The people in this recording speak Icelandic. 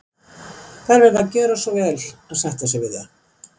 Þær verða að gjöra svo vel að sætta sig við það.